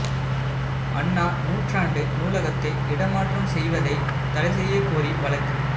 அண்ணா நூற்றாண்டு நூலகத்தை இடம் மாற்றம் செய்வதை தடை செய்யக் கோரி வழக்கு